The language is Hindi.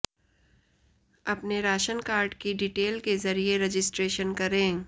अपने राशन कार्ड की डिटेल के जरिये रजिस्ट्रेशन करें